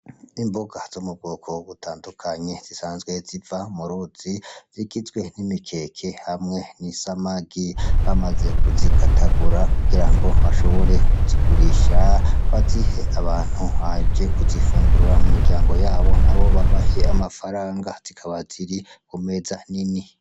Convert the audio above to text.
Imboga zo mu bwoko butandukanye zisanzwe ziva muruzi, zigizwe n'imikeke hamwe n'isamagi. Bamaze kuzikatagura kugirango bashobore kuzigurisha, bazihe abantu baje kuzifungura mumiryango yabo, nabo babahe amafaranga. Zikaba ziri kumeza nini.